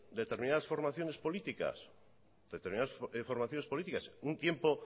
determinadas informaciones políticas determinadas informaciones políticas un tiempo